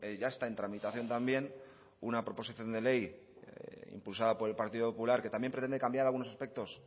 ya está en tramitación también una proposición de ley impulsada por partido popular que también pretende cambiar algunos aspectos